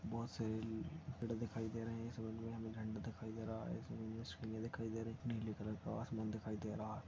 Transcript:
बहुत से पेड़ दिखाई दे रहे हैसामने मे हमे नीले कलर का आसमान दिखाई दे रहा है।